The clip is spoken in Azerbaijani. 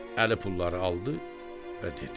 Əli pulları aldı və dedi.